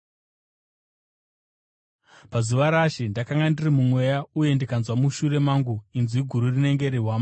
Pazuva raShe, ndakanga ndiri muMweya, uye ndikanzwa mushure mangu inzwi guru rinenge rehwamanda,